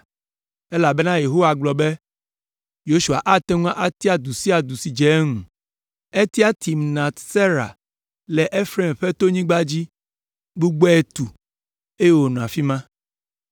elabena Yehowa gblɔ be Yosua ate ŋu atia du sia du si adze eŋu. Etia Timnat Sera le Efraim ƒe tonyigba dzi, gbugbɔe tu, eye wònɔ afi ma.